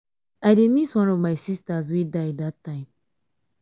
i dey miss one of my sisters wey die dat time.